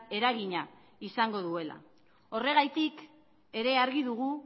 eragina izango duela horregatik ere argi dugu